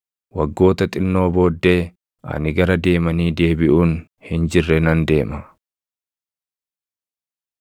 “Waggoota xinnoo booddee, ani gara deemanii deebiʼuun hin jirre nan deema.